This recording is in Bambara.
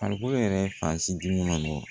Farikolo yɛrɛ fan si dun ma nɔgɔ